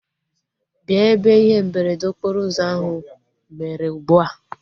Bịa ebe ihe mberede okporo ụzọ ahu mere ugbua!